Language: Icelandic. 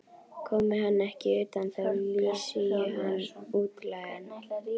Komi hann ekki utan, þá lýsi ég hann útlægan.